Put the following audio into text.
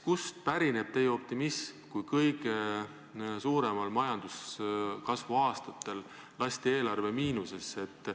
Kust pärineb teie optimism, kui kõige suurema majanduskasvu aastatel lasti eelarve miinusesse?